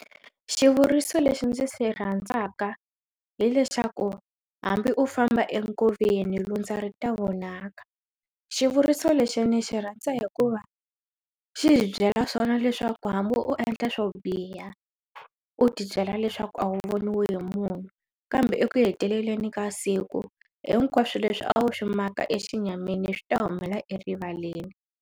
Xivuriso lexi ndzi se rhandzaka hileswaku hambi u famba enkoveni lundza ri ta vonaka xivuriso lexi ni xi rhandza hikuva xi byela swona leswaku hambi u endla swo biha u ti byela leswaku a wu voniwe hi munhu kambe eku heteleleni ka siku hinkwaswo leswi a wu swi maka exinyamini swi ta humelela erivaleni.